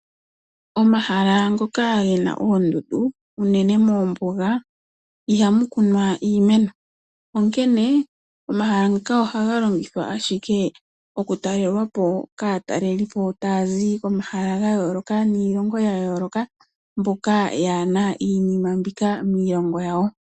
Omahala ngoka gena oondundu uunene moombuga ihamu kunwa iimeno onkene omahala ngaka ohaga longithwa ashike okutalelwapo kaatalelipo taazi komahala gayooloka niilongo yayooloka mboka yaana iinima mbika miilongo yawo.